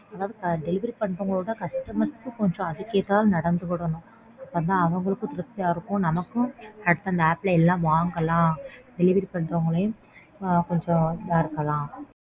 Delivery பண்றவங்களவிட customers ம் அதுக்கேத்தாப்ல நடந்துகிடணும் அப்போதான் அவங்களுக்கும் திருப்தியா இருக்கும். நமக்கும் அடுத்து அந்த app ல எல்லாம் வாங்கலாம். Delivery பண்றவங்களையும் ஆஹ் கொஞ்சம் இதா இருக்கலாம்.